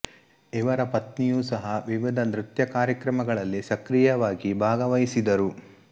ಇವರ ಪತ್ನಿಯೂ ಸಹ ವಿವಿಧ ನೃತ್ಯ ಕಾರ್ಯಕ್ರಮಗಳಲ್ಲಿ ಸಕ್ರಿಯವಾಗಿ ಭಾಗವಹಿಸಿದರು